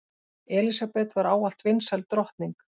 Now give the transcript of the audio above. Elísabet var ávallt vinsæl drottning.